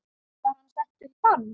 Var hann settur í bann?